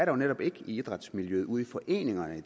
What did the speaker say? jo netop ikke i idrætsmiljøet ude i foreningerne